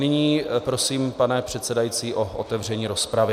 Nyní prosím, pane předsedající, o otevření rozpravy.